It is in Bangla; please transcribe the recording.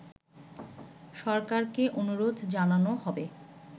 সরকারকে অনুরোধ জানানো হবে